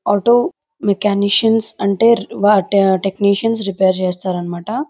Auto mechanicians అంటే వాటి technicians repair చేస్తారు అన్నమాట.